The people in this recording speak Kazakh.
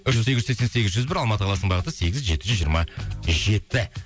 бір жүз сегіз сексен сегіз жүз бір алматы қаласының бағыты сегіз жеті жүз жиырма жеті